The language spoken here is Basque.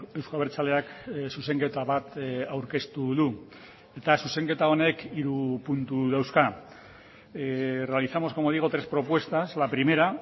euzko abertzaleak zuzenketa bat aurkeztu du eta zuzenketa honek hiru puntu dauzka realizamos como digo tres propuestas la primera